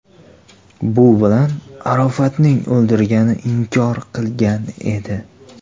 Bu bilan Arofatning o‘ldirilgani inkor qilingan edi.